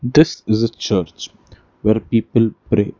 This is a church where people pray.